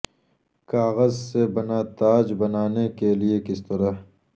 کاغذ سے بنا تاج بنانے کے لئے کس طرح